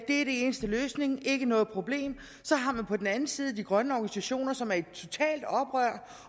eneste løsning ikke noget problem så har man på den anden side de grønne organisationer som er i totalt oprør